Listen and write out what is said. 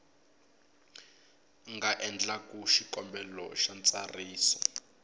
nga endlaku xikombelo xa ntsariso